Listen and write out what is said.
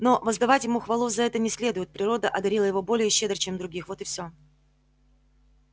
но воздавать ему хвалу за это не следует природа одарила его более щедро чем других вот и всё